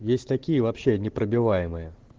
есть такие вообще непробиваемые